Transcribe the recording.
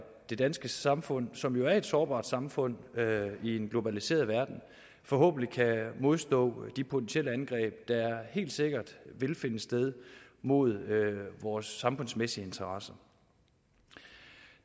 det danske samfund som jo er et sårbart samfund i en globaliseret verden forhåbentlig kan modstå de potentielle angreb der helt sikkert vil finde sted mod vores samfundsmæssige interesser